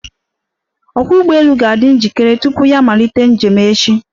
Ọkwọ́ ụgbọelu ga-adị njikere tupu ya amalite njem echi.